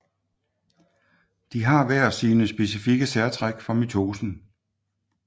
De har hver sine specifikke særtræk for mitosen